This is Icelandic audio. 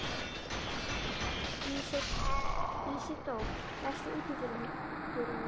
Ísidór, læstu útidyrunum.